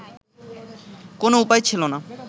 কোন উপায় ছিলো না